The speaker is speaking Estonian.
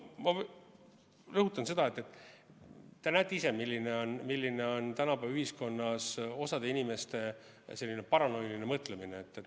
Ma rõhutan seda, et te näete ise, milline on tänapäeva ühiskonnas osa inimeste paranoiline mõtlemine.